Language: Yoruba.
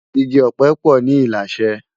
Igi òpè po ni Ilashe